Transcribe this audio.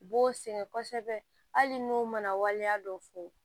U b'o sɛgɛn kosɛbɛ hali n'u mana waleya dɔ fo